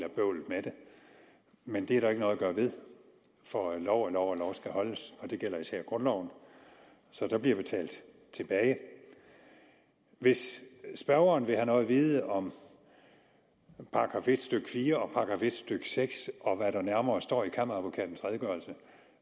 men det er der ikke noget at gøre ved for lov er lov og lov skal holdes og det gælder især grundloven så der bliver betalt tilbage hvis spørgeren vil have noget at vide om § en stykke fire og § en stykke seks og hvad der nærmere står i kammeradvokatens redegørelse